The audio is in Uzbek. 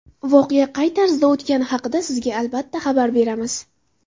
Voqea qay tarzda o‘tgani haqida sizga albatta xabar beramiz!